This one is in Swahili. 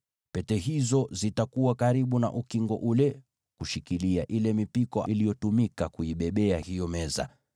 Pete hizo zitakuwa karibu na ukingo ule ili kuishikilia ile mipiko itakayotumika kuibebea hiyo meza.